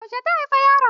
Yaushe ta haifi yaron?